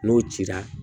N'o cira